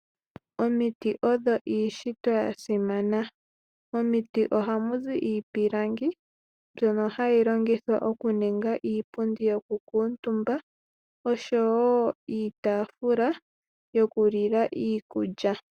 Omiti odho iishitwa ya simana. Momiti oha mu zi iipilangi mbyono hayi longithwa oku ninga iipundu yoku kuutumbwa, osho woo iitafula yokulilwa iikulya.